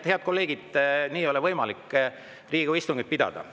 Head kolleegid, nii ei ole võimalik Riigikogu istungit pidada.